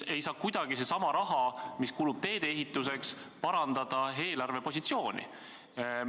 Aga see raha, mis kulub teede ehituseks, ei saa kuidagi parandada eelarvepositsiooni.